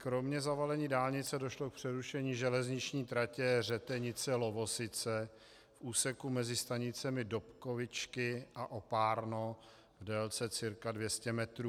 Kromě zavalení dálnice došlo k přerušení železniční tratě Řetenice - Lovosice v úseku mezi stanicemi Dobkovičky a Oparno v délce cca 200 metrů.